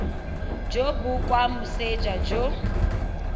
jo bo kwa moseja jo